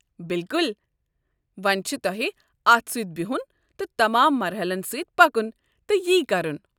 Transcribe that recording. بِلکُل! وونہِ چھُ تۄہہِ اتھ سۭتۍ بِہُن تہٕ تمام مَرحَلن سٕتۍ پکُن تہٕ یہِ كرُن۔